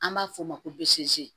An b'a f'o ma ko bosi